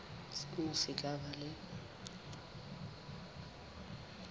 sena se tla ba le